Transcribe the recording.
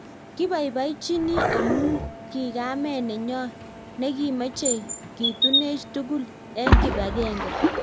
Kipaipachinii amuu ki kameet nenyoo nekimechee kituneech tugul eng kipagenge